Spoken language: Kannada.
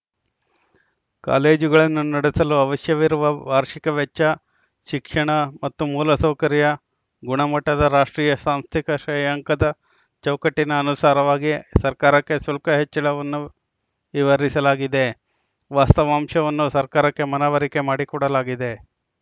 ಕಾಲೇಜುಗಳನ್ನು ನಡೆಸಲು ಅವಶ್ಯವಿರುವ ವಾರ್ಷಿಕ ವೆಚ್ಚ ಶಿಕ್ಷಣ ಮತ್ತು ಮೂಲ ಸೌಕರ್ಯ ಗುಣಮಟ್ಟದ ರಾಷ್ಟ್ರೀಯ ಸಾಂಸ್ಥಿಕ ಶ್ರೇಯಾಂಕದ ಚೌಕಟ್ಟಿನ ಅನುಸಾರವಾಗಿ ಸರ್ಕಾರಕ್ಕೆ ಶುಲ್ಕ ಹೆಚ್ಚಳವನ್ನು ವಿವರಿಸಲಾಗಿದೆ ವಾಸ್ತವಾಂಶವನ್ನು ಸರ್ಕಾರಕ್ಕೆ ಮನವರಿಕೆ ಮಾಡಿಕೊಡಲಾಗಿದೆ